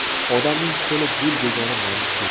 Odamning qo‘li gul degani mana shu.